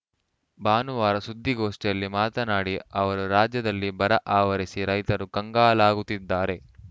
ಭಾನುವಾರ ಸುದ್ದಿಗೋಷ್ಠಿಯಲ್ಲಿ ಮಾತನಾಡಿ ಅವರು ರಾಜ್ಯದಲ್ಲಿ ಬರ ಆವರಿಸಿ ರೈತರು ಕಂಗಾಲಾಗುತ್ತಿದ್ದಾರೆ